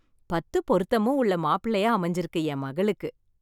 பத்து பொருத்தமும் உள்ள மாப்பிள்ளையா அமைஞ்சிருக்கு என் மகளுக்கு.